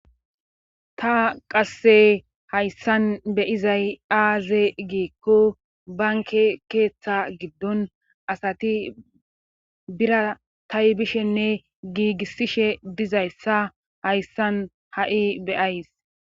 Ta qasse hayssan beyizay aaze giikko banke keeththa giddon asati bira taybishenne giigissishe dizayssa hayssan ha7i beyays.